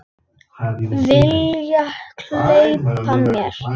Vilja gleypa mig.